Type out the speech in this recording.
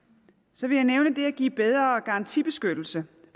så vil jeg nævne det at give bedre garantibeskyttelse